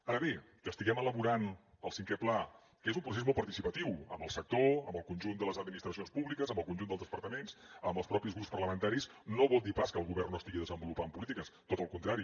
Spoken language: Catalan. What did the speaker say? ara bé que estiguem elaborant el cinquè pla que és un procés molt participatiu amb el sector amb el conjunt de les administracions públiques amb el conjunt dels departaments amb els propis grups parlamentaris no vol dir pas que el govern no estigui desenvolupant polítiques tot al contrari